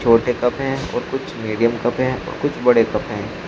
छोटे कप हैं और कुछ मीडियम कप हैं और कुछ बड़े कप हैं।